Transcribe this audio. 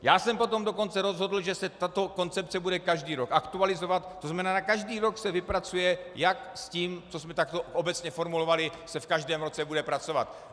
Já jsem potom dokonce rozhodl, že se tato koncepce bude každý rok aktualizovat, to znamená, že každý rok se vypracuje, jak s tím, co jsme takto obecně formulovali, se v každém roce bude pracovat.